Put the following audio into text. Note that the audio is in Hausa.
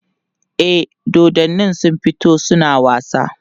e dodannin sun fito suna wasa